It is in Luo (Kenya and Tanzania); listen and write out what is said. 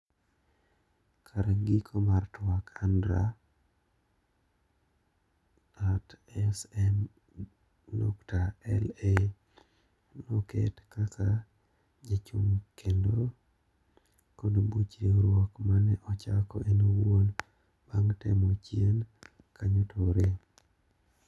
Kar giko mar twak AndreA@Sm.LA noket kaka jachung kendo kod buch riwruok mane ochako en owuon bang temo chien kanyo to orem